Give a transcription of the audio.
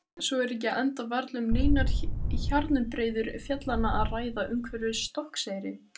Svo er ekki enda varla um neinar hjarnbreiður fjallanna að ræða umhverfis Stokkseyri.